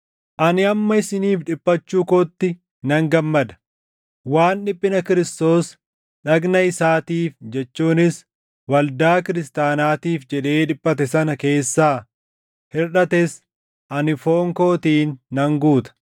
Ani amma isiniif dhiphachuu kootti nan gammada; waan dhiphina Kiristoos dhagna isaatiif jechuunis waldaa kiristaanaatiif jedhee dhiphate sana keessaa hirʼates ani foon kootiin nan guuta.